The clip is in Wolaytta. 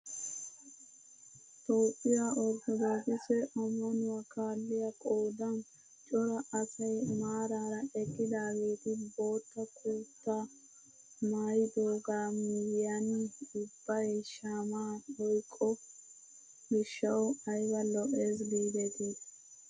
Toophphiyaa orttoodokise ammanwuaa kaalliyaa qoodan cora asay maarara eqqidaageti bootta kutaa maayidogaa miyiyaan ubbay shaamaa oyqqo gishshawu ayba lo"es gidetii.